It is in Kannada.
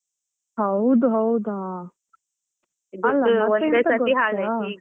ಹೌದ್ ಹೌದಾ .